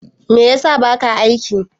Me ya sa baka aiki?